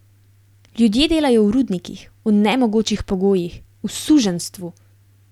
Ljudje delajo v rudnikih, v nemogočih pogojih, v suženjstvu.